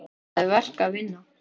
Það er verk að vinna.